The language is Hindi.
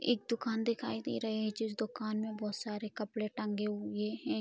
एक दुकान दिखाई दे रहे हैं जिस दुकान में बहुत सारे कपड़े टंगे हुए हैं।